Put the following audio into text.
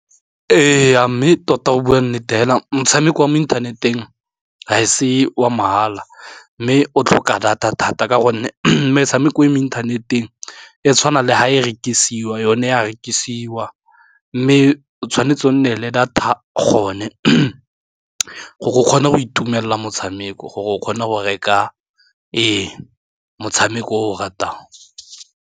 E ya mme tota go bua nnete hela motshameko wa mo inthaneteng ha e se wa mahala, mme o tlhoka data thata ka gonne metshameko e mo inthaneteng e tshwana le ha e rekisiwa yone ya rekisiwa, mme o tshwanetse o nne le data gone gore o kgone go itumelela motshameko gore o kgone go reka motshameko o o ratang.